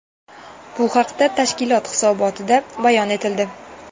Bu haqda tashkilot hisobotida bayon etildi .